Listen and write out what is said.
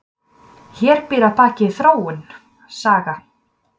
Hér býr að baki þróun, saga.